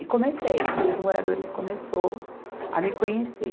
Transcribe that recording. E comecei, e os moradores começou a me conhecer.